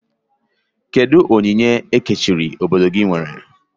Kedụ onyinye ekerechi obodo gị nwere?